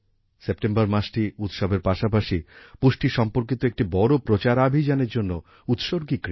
September মাসটি উৎসবের পাশাপাশি পুষ্টি সম্পর্কিত একটি বড় প্রচারাভিযানের জন্যও উত্সর্গীকৃত